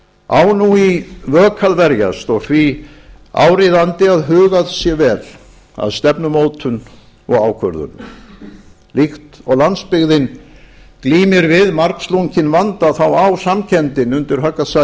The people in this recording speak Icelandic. á nú í vök að verjast og því er áríðandi að hugað sé vel að stefnumótun og ákvörðunum líkt og landsbyggðin glímir við margslunginn vanda á samkenndin undir högg að